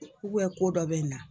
ko dɔ bi na